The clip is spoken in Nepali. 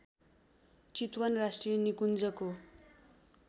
चितवन राष्ट्रिय निकुन्जको